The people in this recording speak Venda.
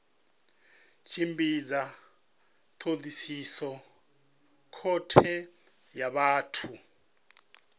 tshimbidza thodisiso khothe ya vhathu